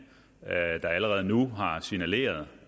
der allerede nu har signaleret